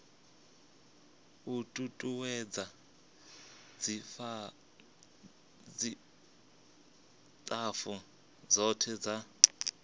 u tutuwedza tshitafu tshothe tsha